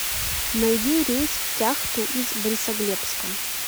найди рейс в кяхту из борисоглебска